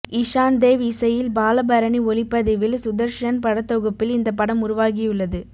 இஷான் தேவ் இசையில் பாலபரணி ஒளிப்பதிவில் சுதர்ஷன் படத்தொகுப்பில் இந்த படம் உருவாகியுள்ளது